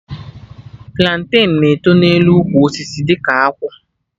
Planten na-eto n'elu ukwu osisi dị ka akwụ